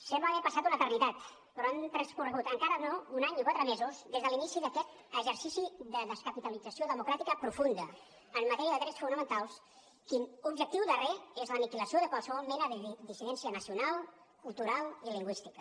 sembla haver passat una eternitat però han transcorregut encara no un any i quatre mesos des de l’inici d’aquest exercici de descapitalització democràtica profunda en matèria de drets fonamentals l’objectiu darrer de la qual és l’aniquilació de qualsevol mena de dissidència nacional cultural i lingüística